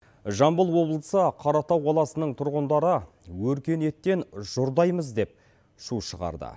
жамбыл облысы қаратау қаласының тұрғындары өркениеттен жұрдаймыз деп шу шығарды